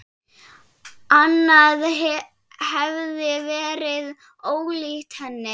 Annað hefði verið ólíkt henni.